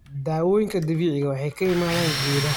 Dawooyinka dabiiciga ah waxay ka yimaadaan geedaha.